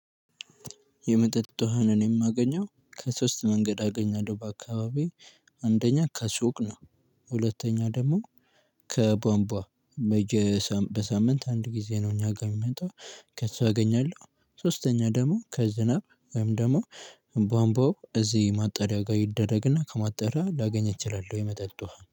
የመጠጥ ውሃን እኔ የማገኘው ከሶስት መንገድ አገኛለሁ በአካባቢየ አንደኛ ከሱቅ ነው። ሁለተኛ ደግሞ ከቧንቧ በየ በሳምንት አንድ ጊዜ ነው። እኛ ጋር የሚመጣው ከሱ አገኛለሁ። ሶስተኛ ደግሞ ከዝናብ ወይም ደግሞ ቧምቧው እዚህ ማጣሪያ ጋር ይደረግና ከማጣሪያ ላገኝ እችላለሁ የመጠጥ ውሃ